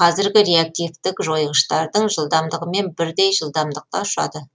казіргі реактивтік жойғыштардың жылдамдығымен бірдей жылдамдықта ұшады